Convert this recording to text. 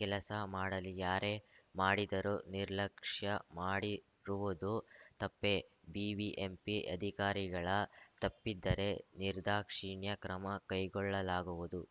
ಕೆಲಸ ಮಾಡಲಿ ಯಾರೇ ಮಾಡಿದರೂ ನಿರ್ಲಕ್ಷ್ಯ ಮಾಡಿರುವುದು ತಪ್ಪೇ ಬಿಬಿಎಂಪಿ ಅಧಿಕಾರಿಗಳ ತಪ್ಪಿದ್ದರೆ ನಿರ್ದಾಕ್ಷಿಣ್ಯ ಕ್ರಮ ಕೈಗೊಳ್ಳಲಾಗುವುದು